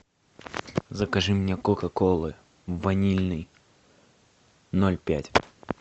закажи мне кока колы ванильной ноль пять